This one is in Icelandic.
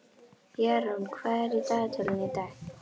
Jarún, hvað er í dagatalinu í dag?